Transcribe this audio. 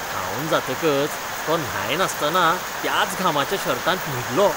धांवन जातकच तो न्हाय नासतना त्याच घामाच्या शर्टांत न्हिदलो.